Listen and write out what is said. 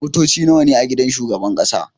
Motoci nawa ne a gidan shugaban ƙasa?